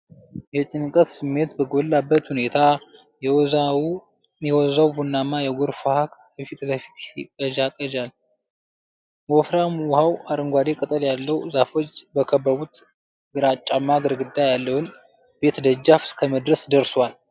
የጭንቀት ስሜት በጎላበት ሁኔታ፣ የወዛው ቡናማ የጎርፍ ውሃ ከፊት ለፊት ይንዠቀዠቃል። ወፍራም ውሃው አረንጓዴ ቅጠል ያላቸው ዛፎች በከበቡት ግራጫማ ግድግዳ ያለውን ቤት ደጃፍ እስከመድረስ ደርሷል።